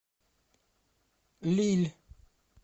лилль